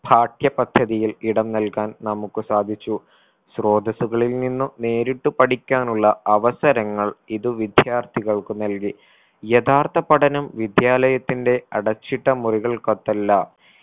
പാഠ്യ പദ്ധതിയിൽ ഇടം നൽകാൻ നമുക്ക് സാധിച്ചു. സ്രോതസ്സുകളിൽ നിന്നു നേരിട്ട് പഠിക്കാനുള്ള അവസരങ്ങൾ ഇത് വിദ്യാർത്ഥികൾക്ക് നൽകി യഥാർത്ഥ പഠനം വിദ്യാലയത്തിന്റെ അടച്ചിട്ട മുറികൾക്കകത്തല്ല